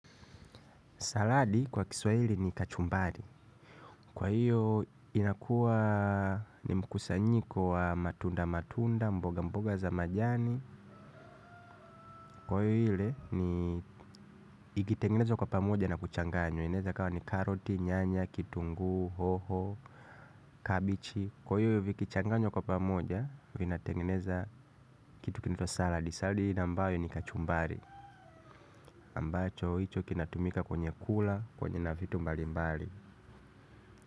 Saladi kwa kiswa hili ni kachumbari. Kwa hiyo inakuwa ni mkusanyiko wa matunda matunda mboga mboga za majani. Kwa hiyo hile ni ikitengenezo kwa pamoja na kuchanganyo. Ineza kuwa ni karoti, nyanya, kitunguu, hoho, kabichi. Kwa hiyo hivi kichanganyo kwa pamoja vina tengeneza kitu kinaitwa saladi. Saladi hili nambayo ni kachumbari. Ambacho hicho kinatumika kwenye kula, kwenye na vitu mbali mbali.